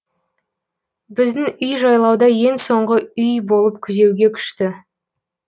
біздің үй жайлауда ең соңғы үй болып күзеуге күшті